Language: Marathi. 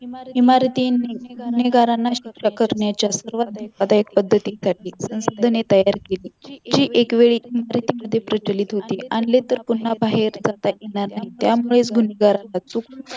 इमारतींनी निगा न राखण्याच्या सर्वात धोकादायक पद्धतीसाठी जी तयार केली जी एकवेळी प्रचलित होती आणले तर पुन्हा बाहेर करता येणार नाही त्यामुळेच अचूक